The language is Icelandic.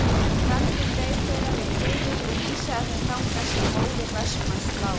Brandur beið þeirra við hliðið og vísaði þeim þangað sem móðir Vestmanns lá.